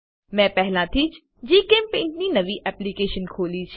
મેં પહેલાથીજ જીચેમ્પેઇન્ટ ની નવી એપ્લીકેશન ખોલી છે